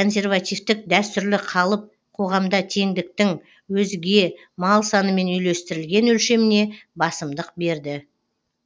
консервативтік дәстүрлі қалып қоғамда теңдіктің өзге мал санымен үйлестірілген өлшеміне басымдық берді